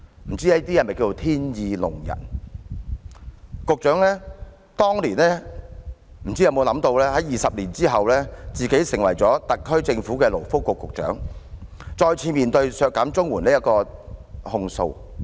不知這可否稱為天意弄人，局長當年又有否想到20年後，自己會成為特區政府的勞工及福利局局長，再次面對削減綜援的控訴。